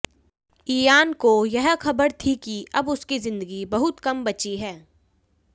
Ian को यह खबर थी कि अब उसकी जिंदगी बहुत कम बची है